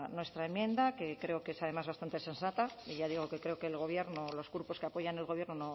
nuestra enmienda que creo que es además bastante sensata y ya digo que creo que el gobierno los grupos que apoyan al gobierno